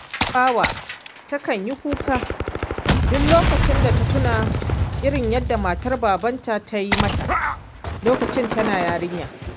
Tabawa takan yi kuka duk lokacin da tuna irin yadda matar babanta ta yi mata lokacin tana yarinya